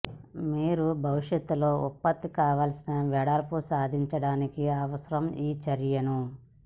మీరు భవిష్యత్తులో ఉత్పత్తి కావలసిన వెడల్పు సాధించడానికి అవసరం ఈ చర్యలను